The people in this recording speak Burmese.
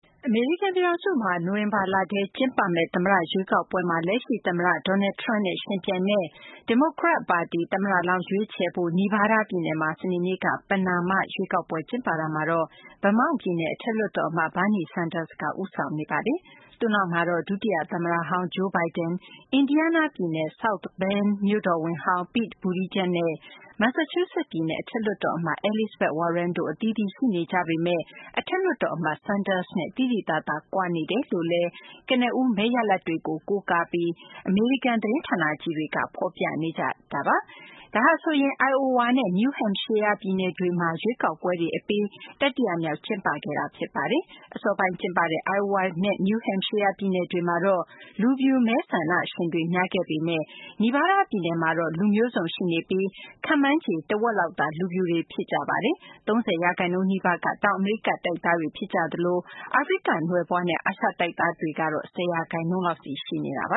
အမေရိကန်ပြည်ထောင်စုမှာ နိုဝင်ဘာလထဲ ကျင်းပမယ့် သမ္မတရွေးကောက်ပွဲမှာ လက်ရှိသမ္မတ Donald Trump နဲ့ ယှဉ်ပြိုင်မယ့် ဒီမိုကရက်တစ်ပါတီ သမ္မတလောင်းရွေးချယ်ဖို့ Nevada ပြည်နယ်မှာ စနေနေ့က ပဏာမရွေးကောက်ပွဲ ကျင်းပရာမှာ Vermont ပြည်နယ် အထက်လွှတ်တော်အမတ် Bernie Sanders က ဦးဆောင်နေပါတယ်။ သူ့နောက်မှာတော့ ဒုတိယသမ္မတဟောင်း Joe Biden, Indiana ပြည်နယ် South Bend မြို့တော်ဝန်ဟောင်း Pete Buttigieg နဲ့ Massachusetts ပြည်နယ် အထက်လွှတ်တော်အမတ် Elizabeth Warren တို့ အသီးသီးရှိနေကြပေမယ့် အထက်လွှတ်တော်အမတ် Sanders နဲ့ သိသိသာသာ ကွာနေတယ်လို့လည်း ကနဦးမဲရလဒ်တွေကို ကိုးကားပြီး အမေရိကန် သတင်းဌာနကြီးတွေက ဖော်ပြနေကြတာပါ။ ဒါဟာဆိုရင် Iowa နဲ့ New Hampshire ပြည်နယ်တွေမှာ အကြိုရွေးကောက်ပွဲတွေအပြီး တတိယမြောက်အဖြစ် ကျင်းပခဲ့တာ ဖြစ်ပါတယ်။ အစောပိုင်းကျင်းပခဲ့တဲ့ Iowa နဲ့ New Hampshire ပြည်နယ်တွေမှာတော့ လူဖြူမဲဆန္ဒရှင်တွေ များခဲ့ပေမယ့် Nevada ပြည်နယ်မှာတော့ လူမျိုးစုံရှိနေပြီး ခန့်မှန်းချေ တဝက်လောက်သာ လူဖြူတွေဖြစ်ကြပြီး ၃၀ ရာခိုင်နှုန်းနီးပါးက တောင်အမေရိကတိုက်သားတွေ ဖြစ်ကြသလို အာဖရိကနွယ်ဖွားနဲ့ အာရှတိုက်သားတွေကတော့ ၁၀ ရာခိုင်နှုန်းလောက်စီ ရှိပ